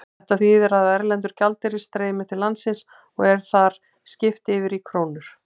Þetta þýðir að erlendur gjaldeyrir streymir til landsins og er þar skipt yfir í krónur.